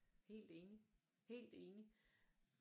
Helt enig helt enig